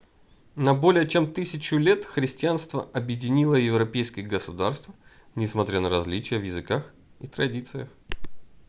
на более чем тысячу лет христианство объединило европейские государства несмотря на различия в языках и традициях